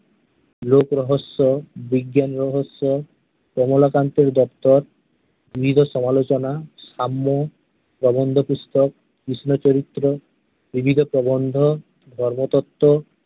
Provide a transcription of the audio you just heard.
লোকরহস্য, বিজ্ঞান রহস্য, কমলাকান্তের দফতর, বিবিধ সমালোচনা, সাম্য, প্রবন্ধ পুস্তক, কৃষ্ণ-চরিত্র, বিবিধ প্রবন্ধ, ধর্মতত্ত্ব